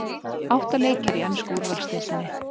Átta leikir í ensku úrvalsdeildinni